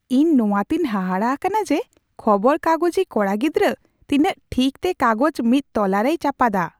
ᱤᱧ ᱱᱚᱣᱟ ᱛᱮᱧ ᱦᱟᱦᱟᱲᱟ ᱟᱠᱟᱱᱟ ᱡᱮ ᱠᱷᱚᱵᱚᱨ ᱠᱟᱜᱚᱡᱤ ᱠᱚᱲᱟ ᱜᱤᱫᱨᱟᱹ ᱛᱤᱱᱟᱹᱜ ᱴᱷᱤᱠ ᱛᱮ ᱠᱟᱜᱚᱡ ᱢᱤᱫ ᱛᱚᱞᱟᱨᱮᱭ ᱪᱟᱯᱟᱫᱟ ᱾